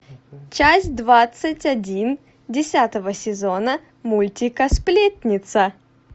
часть двадцать один десятого сезона мультика сплетница